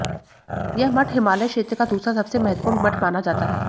यह मठ हिमालय क्षेत्र का दूसरा सबसे महत्त्वपूर्ण मठ माना जाता है